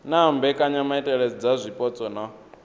na mbekanyamaitele dza zwipotso na